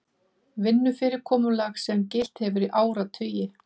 Vinnufyrirkomulag sem gilt hefur í áratugi